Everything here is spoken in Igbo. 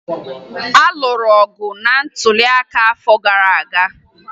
A lụrụ ọgụ na ntụliaka nke afọ gara aga